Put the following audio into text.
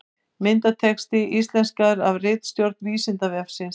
Myndatexti íslenskaður af ritstjórn Vísindavefsins.